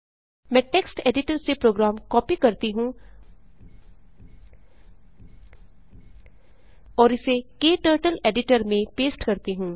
मैं text editor से program copy करती हूँ और इसे क्टर्टल एडिटर में पेस्ट करती हूँ